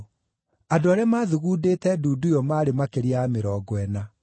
Andũ arĩa maathugundĩte ndundu ĩyo maarĩ makĩria ya mĩrongo ĩna.